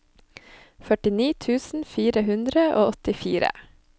førtini tusen fire hundre og åttifire